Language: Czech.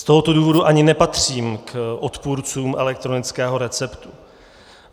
Z tohoto důvodu ani nepatřím k odpůrcům elektronického receptu.